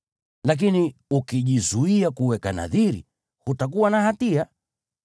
Lakini ukijizuia kuweka nadhiri, hutakuwa na hatia.